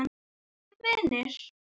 Verum vinir.